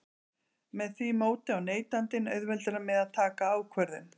Með því móti á neytandinn auðveldara með að taka ákvörðun.